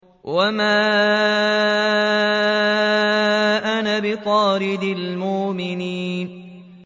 وَمَا أَنَا بِطَارِدِ الْمُؤْمِنِينَ